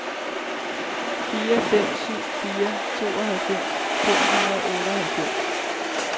fire fem syv fire tooghalvfems fem hundrede og otteoghalvfems